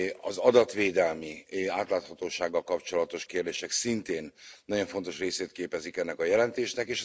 Az adatvédelmi és átláthatósággal kapcsolatos kérdések szintén nagyon fontos részét képezik ennek a jelentésnek.